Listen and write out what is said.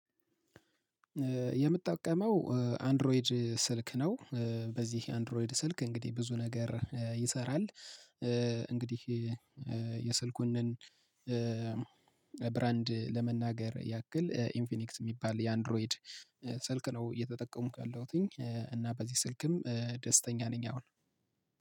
የምትጠቀመው አንድሮይድ ስልክ ነው። በዚህ የአንድሮይድ ስልክ እንግዲህ ብዙ ነገር ይሰራል። እንግዲህ የስልኩን ብራንድ ለመናገር ያክል ኢንፊኒክስ የሚባል የአንድሮይድ ስልክ ነው። እየተጠቀመኩ ያለሁትኝ እና በዚህ ስልክም ደስተኛ ነኝ። አሁን